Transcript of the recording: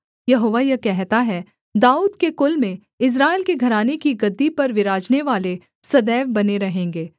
यहोवा यह कहता है दाऊद के कुल में इस्राएल के घराने की गद्दी पर विराजनेवाले सदैव बने रहेंगे